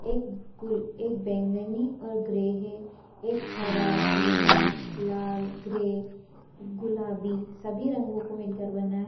एक गु बैंगनी और ग्रे है एक हरा पीला लाल ग्रे गुलाबी सभी रंगों को मिलकर बना है।